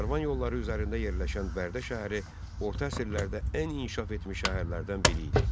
Karvan yolları üzərində yerləşən Bərdə şəhəri orta əsrlərdə ən inkişaf etmiş şəhərlərdən biri idi.